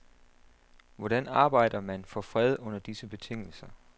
Hvordan arbejder man for fred under disse betingelser?